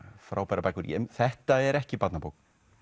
frábærar bækur þetta er ekki barnabók